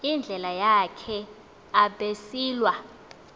indlela yakhe abesilwa